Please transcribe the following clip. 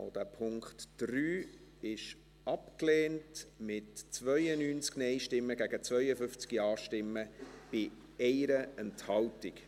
Auch der Punkt 3 wurde abgelehnt, mit 92 Nein- gegen 52 Ja-Stimmen bei 1 Enthaltung.